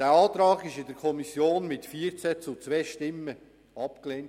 Dieser Antrag wurde in der Kommission mit 14 zu 2 Stimmen abgelehnt.